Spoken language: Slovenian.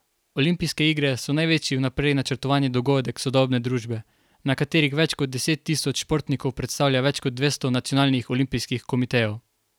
Olimpijske igre so največji vnaprej načrtovani dogodek sodobne družbe, na katerih več kot deset tisoč športnikov predstavlja več kot dvesto nacionalnih olimpijskih komitejev.